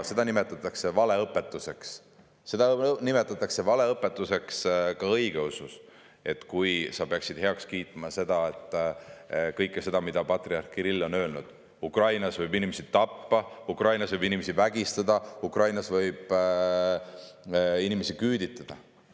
Seda aga nimetatakse valeõpetuseks, seda nimetatakse valeõpetuseks ka õigeusus, kui sa peaksid heaks kiitma kõike seda, mida patriarh Kirill on öelnud, nimelt seda, et Ukrainas võib inimesi tappa, Ukrainas võib inimesi vägistada, Ukrainas võib inimesi küüditada.